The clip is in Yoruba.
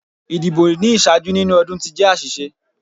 Idibo ni iṣaaju ninu ọdun ti jẹ aṣiṣe